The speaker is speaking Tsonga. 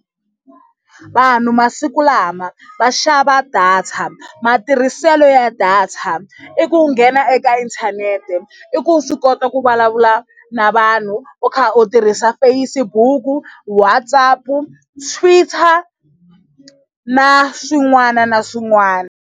Vanhu masiku lama va xava data matirhiselo ya data i ku nghena eka inthanete i ku u swi kota ku vulavula na vanhu u kha u tirhisa Facebook, WhatsApp, Twitter na swin'wana na swin'wana.